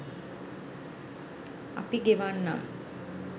අපි ගෙවන්නම්